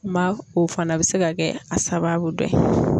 Maa o fana bɛ se ka kɛ a sababu dɔ ye.